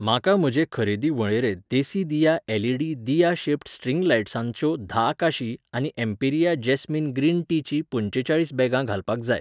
म्हाका म्हजे खरेदी वळेरेंत देसिदिया एल.ई.डी. दिया शेप्ड स्ट्रिंग लायट्सांच्यो धा काशी आनी एम्पिरिया जास्मिन ग्रीन टीचीं पंचेचाळीस बॅगां घालपाक जाय.